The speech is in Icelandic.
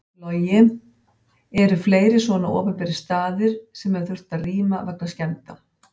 Logi: Eru fleiri svona opinberir staðir sem hefur þurft að rýma vegna skemmda?